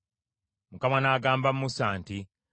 Mukama n’agamba Musa nti,